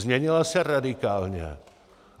Změnila se radikálně.